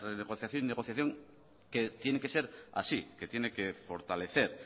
renegociación y negociación que tiene que ser así que tiene que fortalecer